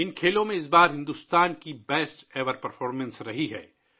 بھارت نے اس بار ان کھیلوں میں اپنی بہترین کارکردگی کا مظاہرہ کیا